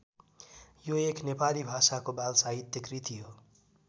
यो एक नेपाली भाषाको बाल साहित्य कृति हो।